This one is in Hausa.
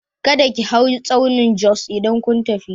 Kada ki hau tsaunin Jos idan kun tafi!